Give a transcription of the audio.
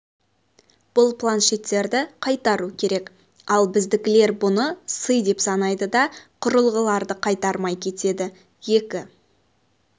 бұл планшеттерді қайтару керек ал біздікілер бұны сый деп санайды да құрылғыларды қайтармай кетеді екі